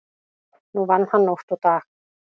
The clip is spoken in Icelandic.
Nú vann hann nótt og dag.